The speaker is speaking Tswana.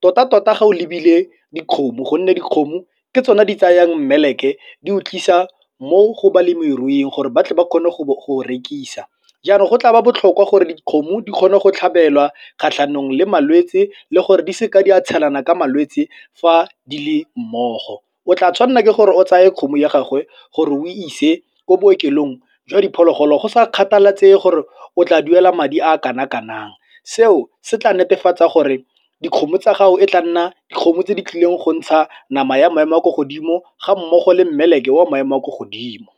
Tota-tota ge o lebile dikgomo gonne dikgomo ke tsone di tsayang mmeleke di utlwisa mo go balemiruing gore ba tle ba kgone go go rekisa. Jaanong go tla ba botlhokwa gore dikgomo di kgone go tlhabelwa kgatlhanong le malwetsi le gore di seke di a tshelana ka malwetse fa di le mmogo. O tla tshwanela ke gore o tsaye kgomo ya gagwe gore o ise ko bookelong jwa diphologolo go sa kgathalesege gore o tla duela madi a kana-kanang seo se tla netefatsa gore dikgomo tsa gago e tla nna dikgomo tse di tlileng go ntsha nama ya maemo a kwa godimo ga mmogo le mmeleke wa maemo a kwa godimo.